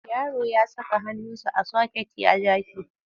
Yaro ya saka hannunsa a soket ya ja shi.